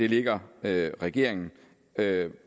ligger det regeringen